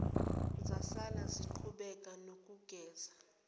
zasala ziqhubeka nokugeza